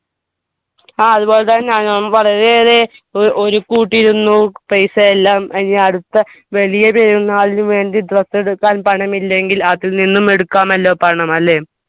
ആ അത്പോലെ തന്നെ വളരെയേറെ ഏർ ഒരുക്ക് കൂട്ടിയിരുന്നു paisa എല്ലാം ഏർ എനി അടുത്ത വലിയ പെരുന്നാളിന് വേണ്ടി dress എടുക്കാൻ പണമില്ലെങ്കിൽ അതിൽ നിന്നും എടുക്കാമല്ലോ പണം അല്ലെ